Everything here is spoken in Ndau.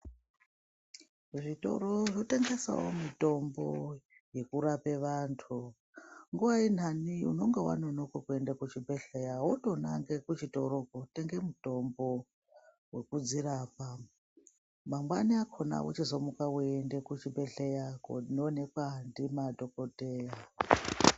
Zvitoro zvinotengesawo mitombo yekurape vantu nguwa inhani unenge wanonoke kuende kuchibhehleya wotonange kuchitoro kotenge mutombo wekudzirapa mangwani akhona wochizomuka weiende kuchibhehleya koonekwa ngemadhokodheya.